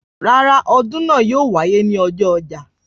Rárá, ọdún náà ò wáyé ní ojú ọjà